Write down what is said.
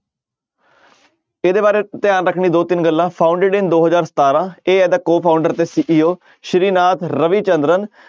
ਇਹਦੇ ਬਾਰੇ ਧਿਆਨ ਰੱਖਣੀ ਦੋ ਤਿੰਨ ਗੱਲਾਂ founded in ਦੋ ਹਜ਼ਾਰ ਸਤਾਰਾਂ ਇਹ ਇਹਦਾ co-founder ਤੇ CEO ਸ੍ਰੀ ਨਾਥ ਰਵੀ ਚੰਦਰਨ